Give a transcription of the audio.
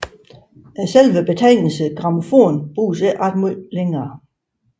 Selve betegnelsen grammofon bruges ikke ret meget længere